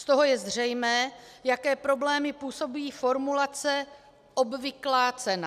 Z toho je zřejmé, jaké problémy působí formulace "obvyklá cena".